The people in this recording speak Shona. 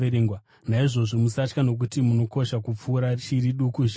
Naizvozvo musatya nokuti munokosha kupfuura shiri duku zhinji.